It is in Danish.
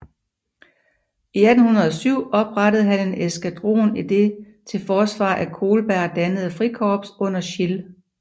I 1807 oprettede han en eskadron i det til forsvar af Kolberg dannede frikorps under Schill